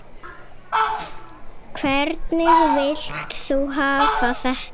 Hvernig vilt þú hafa þetta?